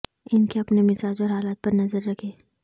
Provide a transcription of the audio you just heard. ان کے اپنے مزاج اور حالت پر نظر رکھیں